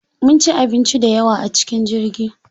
Mun ci abinci dayawa a cikin jirgi.